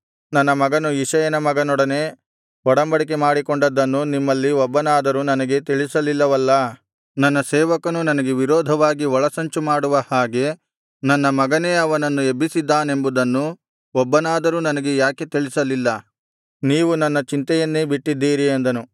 ನನ್ನ ಮಗನು ಇಷಯನ ಮಗನೊಡನೆ ಒಡಂಬಡಿಕೆ ಮಾಡಿಕೊಂಡದ್ದನ್ನು ನಿಮ್ಮಲ್ಲಿ ಒಬ್ಬನಾದರೂ ನನಗೆ ತಿಳಿಸಲಿಲ್ಲವಲ್ಲಾ ನನ್ನ ಸೇವಕನು ನನಗೆ ವಿರೋಧವಾಗಿ ಒಳಸಂಚುಮಾಡುವ ಹಾಗೆ ನನ್ನ ಮಗನೇ ಅವನನ್ನು ಎಬ್ಬಿಸಿದ್ದಾನೆಂಬುದನ್ನು ಒಬ್ಬನಾದರೂ ನನಗೆ ಯಾಕೆ ತಿಳಿಸಲಿಲ್ಲ ನೀವು ನನ್ನ ಚಿಂತೆಯನ್ನೇ ಬಿಟ್ಟಿದ್ದೀರಿ ಅಂದನು